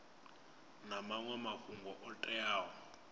na maṅwe mafhungo o teaho